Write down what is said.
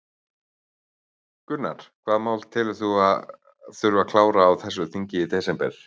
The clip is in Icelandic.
Gunnar: Hvaða mál telur þú að þurfi að klára á þessu þingi í desember?